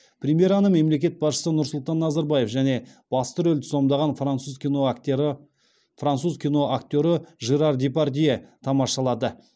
премьераны мемлекет басшысы нұрсұлтан назарбаев және басты рөлді сомдаған француз киноактері киноактері жерар депардье тамашалады